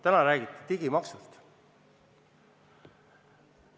Täna räägiti digimaksust.